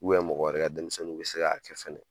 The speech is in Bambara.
mɔgɔ wɛrɛ ka denmisɛnninw bɛ se k'a kɛ fɛnɛ